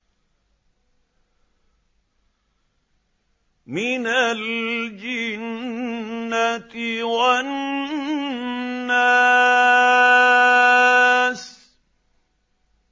مِنَ الْجِنَّةِ وَالنَّاسِ